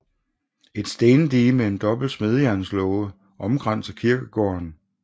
Et stendige med en dobbelt smedejernslåge omkranser kirkegården